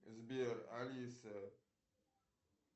сбер алиса